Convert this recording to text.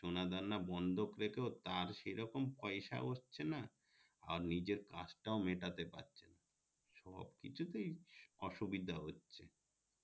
সোনা দানা বন্ধক রেখে ও তার সে রকম পয়সা ও হচ্ছে না আর নিজের কাজ তাও মেটাতে পারছে না সবকিছুতেই অসুবিধা হচ্ছে